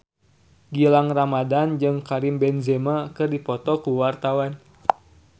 Gilang Ramadan jeung Karim Benzema keur dipoto ku wartawan